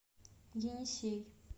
енисей